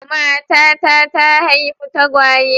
Matata ta haifi tagwaye.